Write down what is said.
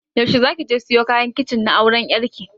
Yaushe za ki je siyo kayan kicin na auran ƴar ki?